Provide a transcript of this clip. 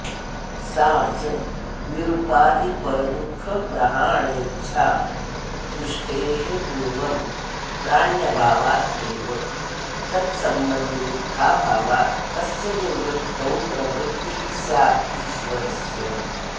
सा च निरुपाधिपरदुःखप्रहाणेच्छा सृष्टेः पूर्वं प्राण्यभावादेव तत्सम्बन्धिदुःखाभावात् कस्य निवृत्तौ प्रवृत्तिः स्यादीश्वरस्य